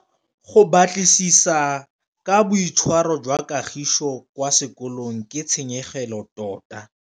Go batlisisa ka boitshwaro jwa Kagiso kwa sekolong ke tshikinyêgô tota.